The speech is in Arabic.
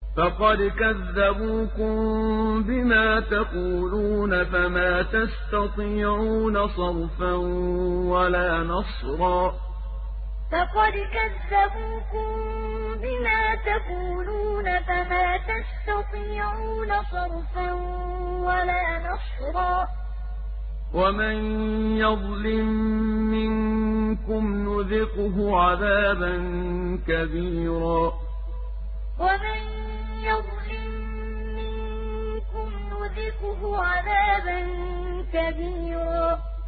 فَقَدْ كَذَّبُوكُم بِمَا تَقُولُونَ فَمَا تَسْتَطِيعُونَ صَرْفًا وَلَا نَصْرًا ۚ وَمَن يَظْلِم مِّنكُمْ نُذِقْهُ عَذَابًا كَبِيرًا فَقَدْ كَذَّبُوكُم بِمَا تَقُولُونَ فَمَا تَسْتَطِيعُونَ صَرْفًا وَلَا نَصْرًا ۚ وَمَن يَظْلِم مِّنكُمْ نُذِقْهُ عَذَابًا كَبِيرًا